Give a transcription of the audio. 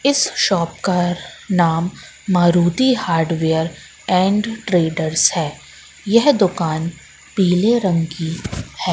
इस शॉप का नाम मारुति हार्डवेयर एंड ट्रेड्स है यह दुकान पीले रंग की है।